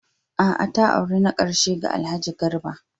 A'a!, ta auri na ƙarshe ga Alhaji Garba.